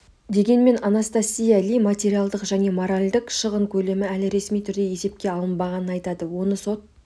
дегенмен анастасия ли материалдық және моралдік шығын көлемі әлі ресми түрде есепке алынбағанын айтады оны сот